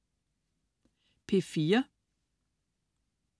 P4: